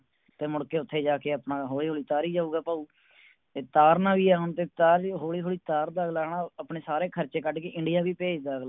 ਤੇ ਮੁੜ ਕੇ ਓਥੇ ਜਾ ਕੇ ਆਪਣਾ ਹੌਲੀ ਹੌਲੀ ਉਤਾਰੀ ਜਾਊਗਾ ਭਾਉ ਤੇ ਤਾਰਨਾ ਵੀ ਹੈ ਹੁਣ ਤੇ ਉਤਾਰ ਦਿਓ ਹੌਲੀ ਹੌਲੀ ਉਤਾਰਦਾ ਅਗਲਾ ਆਪਣੇ ਸਾਰੇ ਖਰਚੇ ਕੱਢ ਕੇ ਇੰਡੀਆ ਵੀ ਭੇਜਦਾ ਅਗਲਾ